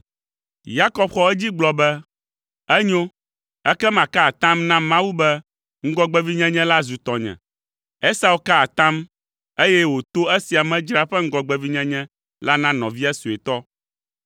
Yakob xɔ edzi gblɔ be, “Enyo, ekema ka atam na Mawu be ŋgɔgbevinyenye la zu tɔnye.” Esau ka atam, eye wòto esia me dzra eƒe ŋgɔgbevinyenye la na nɔvia suetɔ,